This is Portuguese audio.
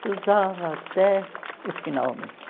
Se usava até o final mesmo.